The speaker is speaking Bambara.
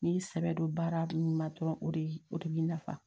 N'i y'i sɛbɛ don baara min na dɔrɔn o de o de b'i nafa